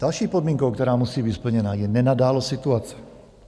Další podmínkou, která musí být splněna, je nenadálost situace.